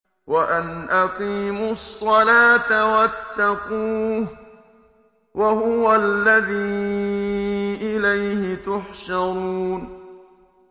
وَأَنْ أَقِيمُوا الصَّلَاةَ وَاتَّقُوهُ ۚ وَهُوَ الَّذِي إِلَيْهِ تُحْشَرُونَ